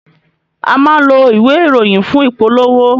A máa ń lo ìwé ìròyìn fún ìpolówó